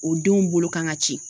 O denw bolo kan ka ci.